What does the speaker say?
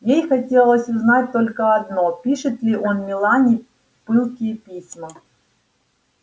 ей хотелось узнать только одно пишет ли он мелани пылкие письма